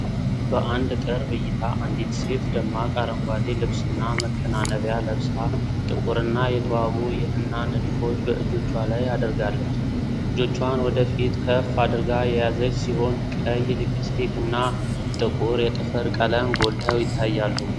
በአንድ ቅርብ እይታ አንዲት ሴት ደማቅ አረንጓዴ ልብስና መከናነቢያ ለብሳ፣ ጥቁርና የተዋቡ የሕና ንድፎች በእጆቿ ላይ አድርጋለች። እጆቿን ወደ ፊት ከፍ አድርጋ የያዘች ሲሆን፤ ቀይ ሊፕስቲክና ጥቁር የጥፍር ቀለም ጎልተው ይታያሉ።